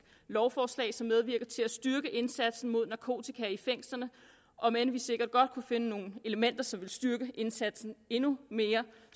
lovforslag som medvirker til at styrke indsatsen mod narkotika i fængslerne om end vi sikkert godt kunne finde nogle elementer som ville styrke indsatsen endnu mere